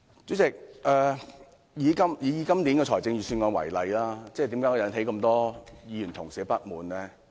主席，以今年的預算案為例，為何會引起這麼多議員不滿呢？